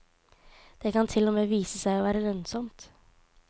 Det kan til og med vise seg å være lønnsomt.